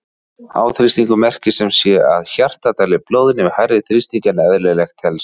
Háþrýstingur merkir sem sé að hjartað dælir blóðinu við hærri þrýsting en eðlilegt telst.